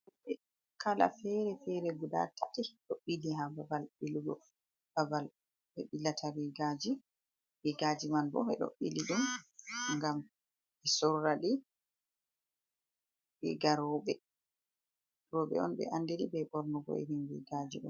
E kala fere fere guda tati ɗo ɓili ha babal ɓilugo, babal ɓe bilata rigaji. Rigaji man bo ɓe ɗo ɓili ɗum ngam ɓe sora ɗi riga rowɓe. Rowɓe on ɓe andiri be ɓornugo irin rigaji ɗo.